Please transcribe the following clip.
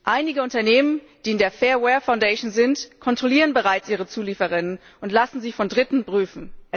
Einige Unternehmen, die in der Fair Wear Foundation sind, kontrollieren ihre Zulieferer bereits und lassen sie von Dritten prüfen.